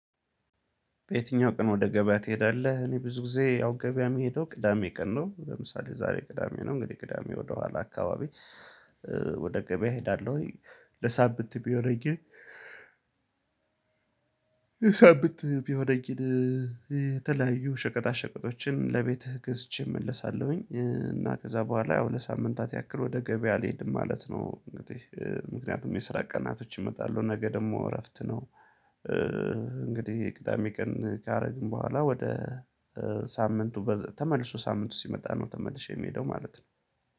በየትኛው ቀን ወደ ገበያ ትሄዳለህ? እኔ ብዙ ጊዜ ያው ገበያ የምሄደው ቅዳሜ ቀን ነው ለምሳሌ ዛሬ ቅዳሜ ነው እንግዲህ ቅዳሜ ወደኋላ አካባቢ ወደ ገበያ እሄዳለሁኝ። ለሳምንት የሚሆነኝን የሳምንት የሚሆነኝን የተለያዩ ሸቀጣ ሸቀጦችን ለቤትህ ገዝቼ እመለሳለሁኝ። እና ከዛ በኋላ ለሳምንታት ያክል ወደ ገበያ አልሄድም ማለት ነው። እንግዲህ ምክንያቱም የስራ ቀናቶች ይመጣሉ ነገ ደግሞ እረፍት ነው። እንግዲህ ቅዳሜ ቀን ካደረግን በኋላ ወደ ሳምንቱ ተመልሶ ሳምንቱ ሲመጣ ነው ተመልሼ የምሄደው ማለት ነው።